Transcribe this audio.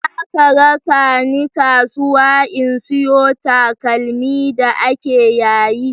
Za ka raka ni kasuwa in sayo takalmi da ake yayi?